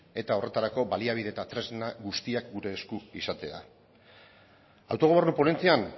eta horretarako baliabide eta tresna guztiak gure esku izatea autogobernu ponentzian